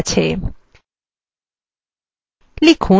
দেখা যাক সেগুলিতে কী আছে